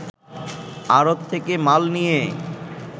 আড়ত থেকে মাল নিয়ে